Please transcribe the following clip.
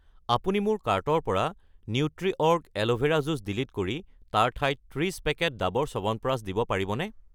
আপুনি মোৰ কাৰ্টৰ পৰা নিউট্ৰিঅৰ্গ এল'ভেৰা জুচ', ডিলিট কৰি তাৰ ঠাইত 30 পেকেট ডাৱৰ চ্যৱনপ্ৰাচ দিব পাৰিবনে?